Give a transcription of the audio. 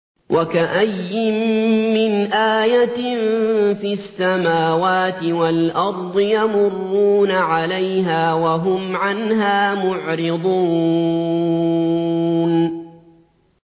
وَكَأَيِّن مِّنْ آيَةٍ فِي السَّمَاوَاتِ وَالْأَرْضِ يَمُرُّونَ عَلَيْهَا وَهُمْ عَنْهَا مُعْرِضُونَ